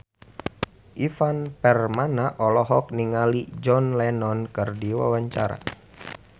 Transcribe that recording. Ivan Permana olohok ningali John Lennon keur diwawancara